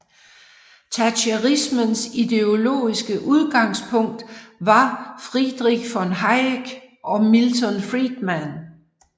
Thatcherismens ideologiske udgangspunkt var Friedrich von Hayek og Milton Friedman